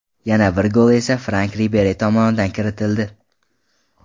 Yana bir gol esa Frank Riberi tomonidan kiritildi.